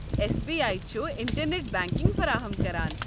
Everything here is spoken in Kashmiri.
اٮ۪س بی آی چھُ انٹرنٮ۪ٹ بنکنٛگ فراہم كران ۔